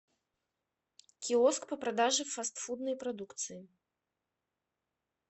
киоск по продаже фастфудной продукции